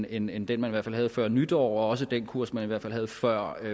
end end den man i hvert fald havde før nytår og også den kurs man i hvert fald havde før